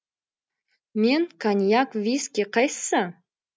мен коньяк виски қайсысы